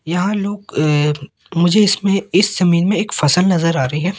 यहां लोग अ मुझे इसमें इस जमीन में एक फसल नजर आ रही है।